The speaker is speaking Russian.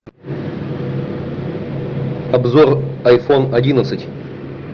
обзор айфон одиннадцать